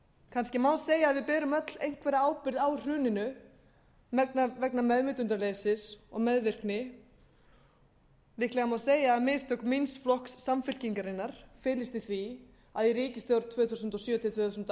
kannski má segja að við berum öll einhverja ábyrgð á hruninu vegna meðvitundarleysis og meðvirkni líklega má segja að mistök míns flokks samfylkingarinnar felist í því að í ríkisstjórn tvö þúsund og sjö til tvö þúsund og